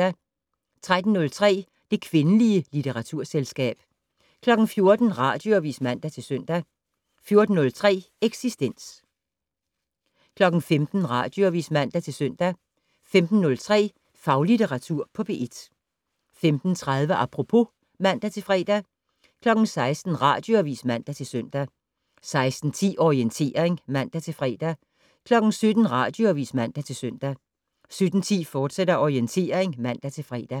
13:03: Det kvindelige litteraturselskab 14:00: Radioavis (man-søn) 14:03: Eksistens 15:00: Radioavis (man-søn) 15:03: Faglitteratur på P1 15:30: Apropos (man-fre) 16:00: Radioavis (man-søn) 16:10: Orientering (man-fre) 17:00: Radioavis (man-søn) 17:10: Orientering, fortsat (man-fre)